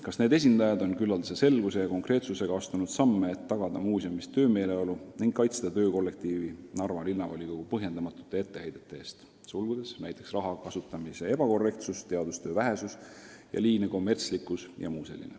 Kas need esindajad on küllaldase selguse ja konkreetsusega astunud samme, et tagada muuseumis töömeeleolu ning kaitsta töökollektiivi Narva linnavolikogu põhjendamatute etteheidete eest ?